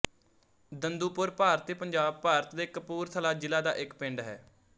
ਦੰਦੂਪੁਰ ਭਾਰਤੀ ਪੰਜਾਬ ਭਾਰਤ ਦੇ ਕਪੂਰਥਲਾ ਜ਼ਿਲ੍ਹਾ ਦਾ ਇੱਕ ਪਿੰਡ ਹੈ